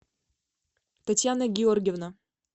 татьяна георгиевна